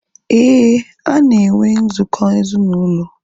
Éè, ha na enwe nzukọ ezinaụlọ